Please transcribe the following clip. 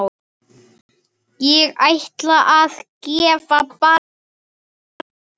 Ég ætla að gefa barnið.